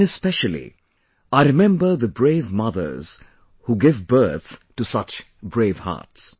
And especially, I remember the brave mothers who give birth to such bravehearts